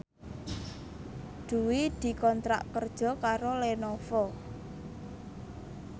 Dwi dikontrak kerja karo Lenovo